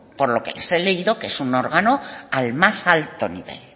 por lo que les he leído que es un órgano al más alto nivel